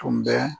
Tun bɛ